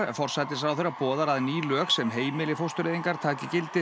forsætisráðherra boðar að ný lög sem heimili fóstureyðingar taki gildi